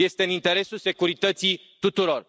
Este în interesul securității tuturor.